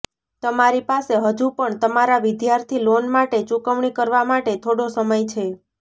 તમારી પાસે હજુ પણ તમારા વિદ્યાર્થી લોન માટે ચૂકવણી કરવા માટે થોડો સમય છે